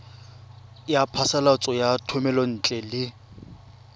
ya phasalatso ya thomelontle le